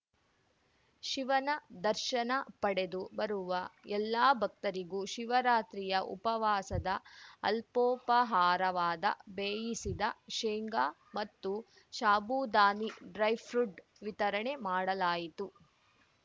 ಶಿವನ ದರ್ಶನ ಪಡೆದು ಬರುವ ಎಲ್ಲ ಭಕ್ತರಿಗೂ ಶಿವರಾತ್ರಿಯ ಉಪವಾಸದ ಅಲ್ಪೋಪಹಾರವಾದ ಬೇಯಿಸಿದ ಶೇಂಗಾ ಮತ್ತು ಶಾಬೂದಾನಿ ಡ್ರೈಪುಡ್‍ವಿತರಣೆ ಮಾಡಲಾಯಿತು